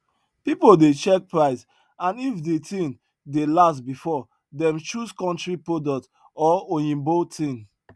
pipo dey check price and if de thing dey last before dem choose country product or oyimbo thing